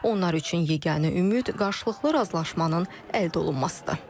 Onlar üçün yeganə ümid qarşılıqlı razılaşmanın əldə olunmasıdır.